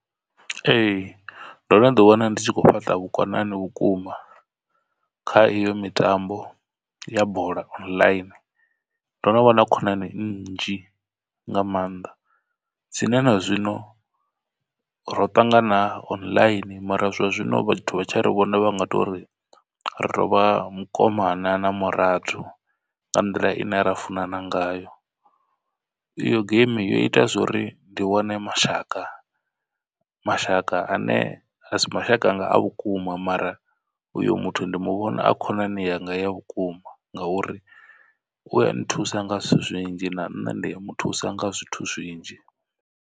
Ee, ndo no ḓi wana ndi tshi khou fhaṱa vhukonani vhukuma kha iyo mitambo ya bola online ndo no vha na khonani nnzhi nga maanḓa dzine na zwino ro ṱangana online. Mara zwa zwino vhathu vha tshi ri vhone vha nga tori rovha mukomana na murathu nga nḓila ine ra funana ngayo. I yo geimi yo ita zwori ndi wane mashaka mashaka ane a si mashaka anga a vhukuma mara uyo muthu ndi muvhona a khonani yanga ya vhukuma. Ngauri u a nthusa nga zwithu zwinzhi na nṋe ndi a muthusa nga zwithu zwinzhi.